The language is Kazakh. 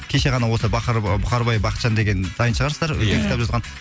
кеше ғана осы бухарбай бахытжан деген танитын шығарсыздар ия үлкен кітап жазған